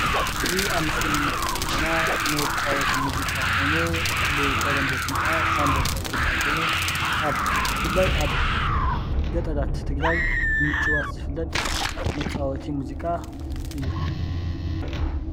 እዚ አብ ምስሊ እንሪኦ ዘለና ናይ መጫወቲ ሙዚቃ ኮይኑ ብተለምዶ ሹሙ ካዓ ሻምበቆ ዝበሃል ኮይኑ፤ ብፍላይ አብ ገጠራት ትግራይ ብምጭዋት ዝፍለጥ መጫወቲ ሙዚቃ እዩ።